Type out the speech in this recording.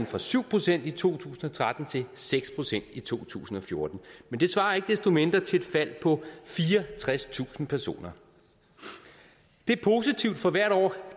fra syv procent i to tusind og tretten til seks procent i to tusind og fjorten men det svarer ikke desto mindre til et fald på fireogtredstusind personer det er positivt for hvert år